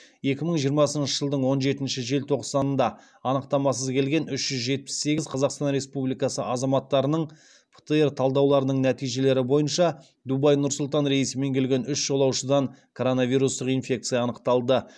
екі мың жиырмасыншы жылдың он жетінші желтоқсанында анықтамасыз келген үш жүз жетпіс сегіз қазақстан республикасы азаматтарының птр талдауларының нәтижелері бойынша дубай нұр сұлтан рейсімен келген үш жолаушыдан коронавирустық инфекция анықталды